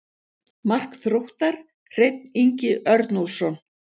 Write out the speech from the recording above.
Mark Þróttar: Hreinn Ingi Örnólfsson.